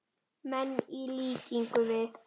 menn, í líkingu við.